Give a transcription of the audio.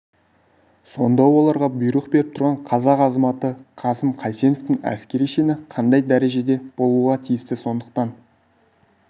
сонда оларға бұйрық беріп тұрған қазақ азаматы қасым қайсеновтің әскери шені қандай дәрежеде болуға тиісті сондықтан